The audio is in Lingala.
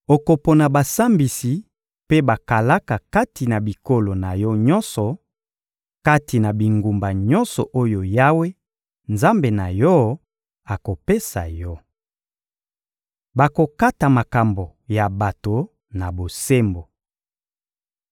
Okopona basambisi mpe bakalaka kati na bikolo na yo nyonso, kati na bingumba nyonso oyo Yawe, Nzambe na yo, akopesa yo. Bakokata makambo ya bato na bosembo.